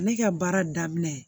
Ne ka baara daminɛ